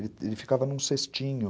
Ele ficava num cestinho.